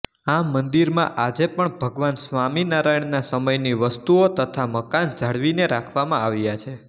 આ મંદિરમાં આજે પણ ભગવાન સ્વામિનારાયણના સમયની વસ્તુઓ તથા મકાન જાળવીને રાખવામાં આવ્યા છે